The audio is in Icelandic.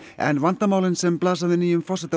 en vandamálin sem blasa við nýjum forseta